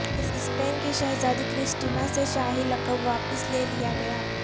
Spain کی شہزادی Cristina سے شاہی لقب واپس لے لیا گیا